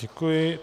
Děkuji.